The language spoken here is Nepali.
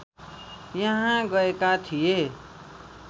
यहाँ गएका थिए